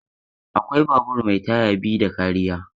Akwai babur mai taya biyu ds kariya.